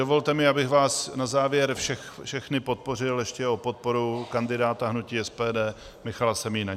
Dovolte mi, abych vás na závěr všechny poprosil ještě o podporu kandidáta hnutí SPD Michala Semína.